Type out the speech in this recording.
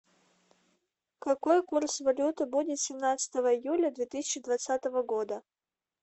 какой курс валюты будет семнадцатого июля две тысячи двадцатого года